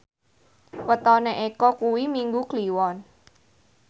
wetone Eko kuwi Minggu Kliwon